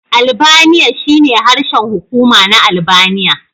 Albaniya shine harshen hukuma na Albaniya.